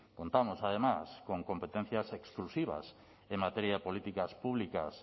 contamos además con competencias exclusivas en materia de políticas públicas